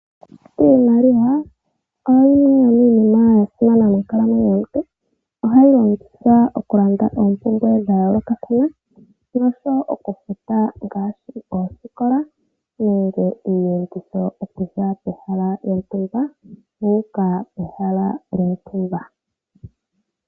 Iimaliwa oyo yimwe yo miinima ya simana monkalamwenyo yomuntu ohayi longithwa okulanda oompumbwe dha yoolokathana ngaashi okufuta ngaashi oosikola nenge iiyenditho okuza pehala lyontumba wuuka kehala lyontumba.